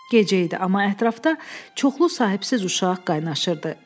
Gecə idi, amma ətrafda çoxlu sahibsiz uşaq qaynaşırdı.